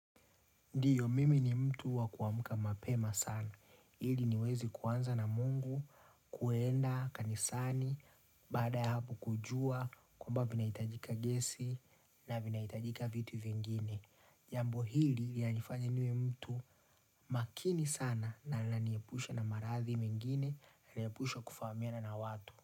Ndiyo, mimi ni mtu wakuamka mapema sana. Hili niweze kuanza na Mungu, kuenda, kanisani, baada ya hapo kujua, kwamba vinaitajika gesi na vinaitajika vitu vingine. Jambo hili yanifanya niwe mtu makini sana na nalaniyepusha na maradhi mengine, nalaniyepusha kufaamiana na watu.